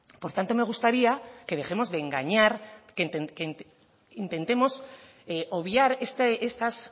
por tanto me gustaría que dejemos de engañar que intentemos obviar estas